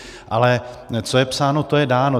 Ale co je psáno, to je dáno.